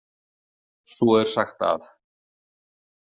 Svo er sagt að.